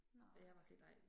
Nej